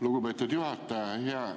Lugupeetud juhataja!